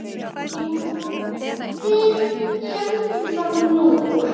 Jú, við héldum það nú.